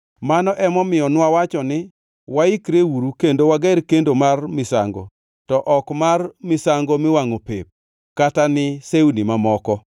“Mano emomiyo nwawacho ni, ‘Waikreuru kendo wager kendo mar misango, to ok mar misango miwangʼo pep, kata ni sewni mamoko.’